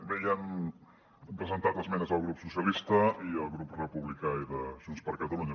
bé hi han presentat esmenes el grup socialistes i el grup republicà i de junts per catalunya